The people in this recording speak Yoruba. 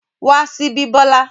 Wá síbí Bola!